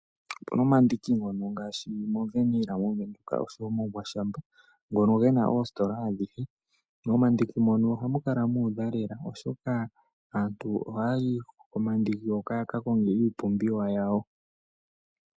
Opuna omandiki ngono ngaashi moVernill moVenduka oshowo muGwashamna ngono gena oositola adhihe. Momandiki mono ohamu kala mu udha lela oshoka aantu ohaayi komandiki hoka yaka konge Iipumbiwa yawo.